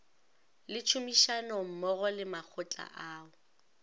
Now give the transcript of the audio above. le tšhomišanommogo le makgotla ao